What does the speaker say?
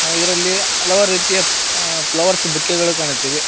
ಇದರಲ್ಲಿ ಹಲವಾರು ರೀತಿಯ ಫ್ಲವರ್ಸ್ ಬುಕ್ಕೆಗಳು ಕಾಣುತ್ತಿದೆ.